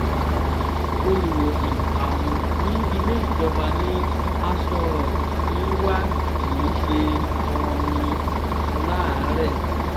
olùwòsàn um ní ilé ìjọba ní aso rock ń wá kì í ṣe um aláàárẹ̀